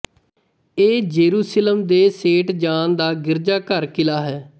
ਇਹ ਜੇਰੂਸਿਲਮ ਦੇ saint John ਦਾ ਗਿਰਜਾਘਰ ਕਿਲ੍ਹਾ ਹੈ